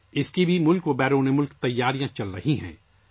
اس کے لیے ملک اور بیرون ملک بھی تیاریاں جاری ہیں